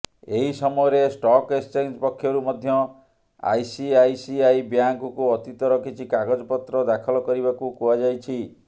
ଏହି ସମୟରେ stock exchange ପକ୍ଷରୁ ମଧ୍ୟ ଆଇସିଆଇସିଆଇ ବ୍ୟାଙ୍କକୁ ଅତୀତର କିଛି କାଗଜପତ୍ର ଦାଖଲ କରିବାକୁ କୁହାଯାଇଛି